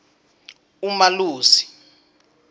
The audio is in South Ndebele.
umalusi